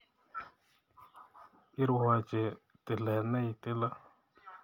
Irwoch tilet ne itile